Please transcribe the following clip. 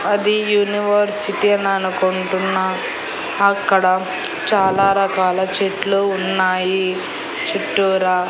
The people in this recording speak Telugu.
అది యూనివర్సిటీ ననుకుంటున్నా అక్కడ చాలా రకాల చెట్లు ఉన్నాయి చుట్టూరా.